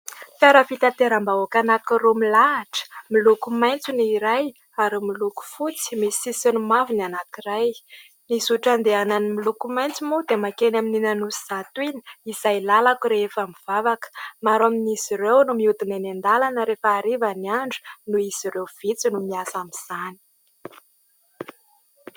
Fiara fitateram-bahoaka anankiroa milahatra, miloko maitso ny iray ary miloko fotsy misy sisiny mavo ny anankiray. Ny zotra andehanan'ny miloko maitso moa dia makeny amin'iny Anosizato iny, izay lalako rehefa mivavaka. Maro amin'izy ireo no mihodina eny an-dalana rehefa hariva ny andro, noho izy ireo vitsy no miasa amin'izany.